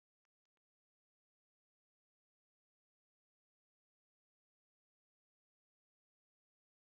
Kankia ƙaramar hukuma ce a jihar Katsina.